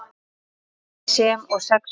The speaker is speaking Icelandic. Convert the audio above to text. sem og sex fætur.